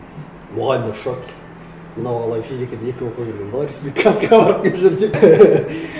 мұғалімдер в шоке мынау бала физикадан екіге оқып жүрген бала республиканскийге барып келіп жүр деп